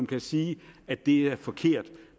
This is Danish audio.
kan sige at det er forkert